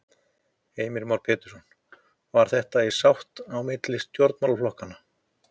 Heimir Már Pétursson: Var þetta í sátt á milli stjórnarflokkanna?